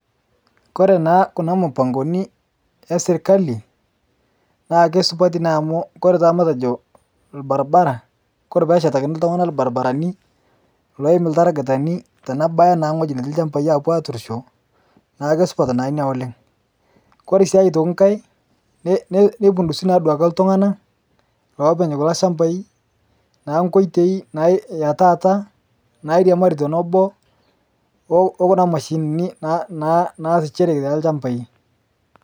Kore naa kuna mupangoni ee sirkalii naa keisupati naa amu koree taa matejo lbarbaraa kore peeshetakini ltungana lbarbarani loim ltaragitani tenebayaa naa nghoji netii lshampai apuo aturishoo naaku keisupat naa inia oleng kore sii oitoki nghai neipundusii naa otoki ltunganaa loopeny kuloo shampai naa nkoitei ee taata nairiamarii tonoboo okuna mashinini naasishereki telshampai.